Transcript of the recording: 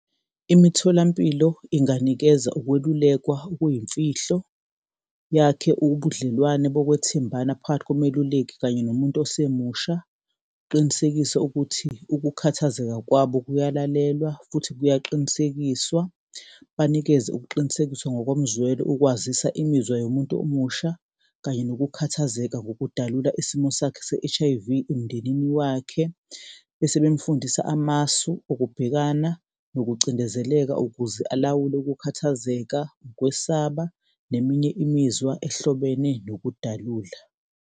Imitholampilo inganikeza ukwelulekwa okuyimfihlo yakhe ubudlelwane bokwethembana phakathi komeluleki kanye nomuntu osemusha, uqinisekise ukuthi ukukhathazeka kwabo kuyalalelwa futhi kuyaqinisekiswa. Banikeze ukuqinisekiswa ngokomzwelo ukwazisa imizwa yomuntu omusha kanye nokukhathazeka ngokudalula isimo sakhe se-H_I_V emndenini wakhe, bese bemfundisa amasu okubhekana nokucindezeleka ukuze alawule ukukhathazeka, ukwesaba neminye imizwa ehlobene nokudalula.